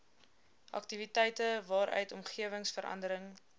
aktiwiteite waaruit omgewingsverandering